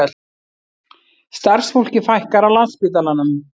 Starfsfólki fækkar á Landspítalanum